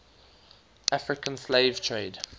african slave trade